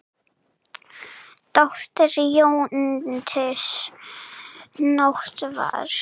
Dóttir jötuns Nótt var.